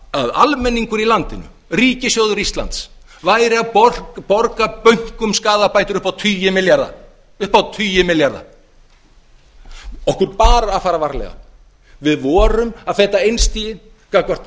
að almenningur í landinu ríkissjóður íslands væri að borga bönkum skaðabætur upp á tugi milljarða okkur bar að fara varlega við vorum að feta einstigið gagnvart